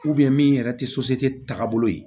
min yɛrɛ tɛ tagabolo ye